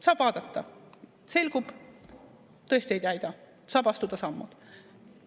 Saab vaadata, selgub, et tõesti ei täida, saab astuda sammud.